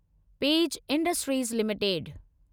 page Industries limited